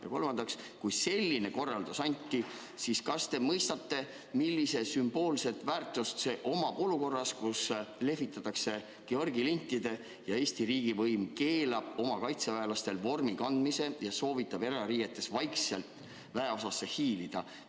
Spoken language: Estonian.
Ja kolmandaks, kui selline korraldus anti, siis kas te mõistate, millist sümboolset väärtust see omab olukorras, kus lehvitatakse Georgi lintidega – see, et Eesti riigivõim keelab oma kaitseväelastel vormi kandmise ja soovitab erariietes vaikselt väeosasse hiilida?